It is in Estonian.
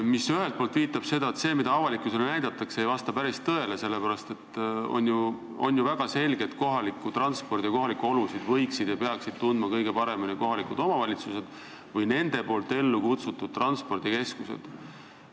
See viitab sellele, et see, mida avalikkusele näidatakse, ei vasta päris tõele, sellepärast et on ju väga selge, et kohalikku transporti ja kohalikke olusid võiksid ja peaksid tundma kõige paremini kohalikud omavalitsused või nende enda ellukutsutud transpordikeskused.